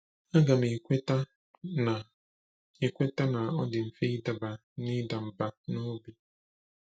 Aga m ekweta na ekweta na ọ dị mfe ịdaba n’ịda mbà n’obi.